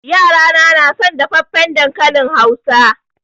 Yarana na son dafaffen dankalin Hausa.